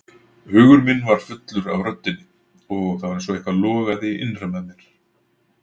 Hugur minn var fullur af röddinni og það var einsog eitthvað logaði innra með mér.